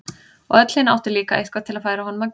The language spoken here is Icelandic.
Og öll hin áttu líka eitthvað til að færa honum að gjöf.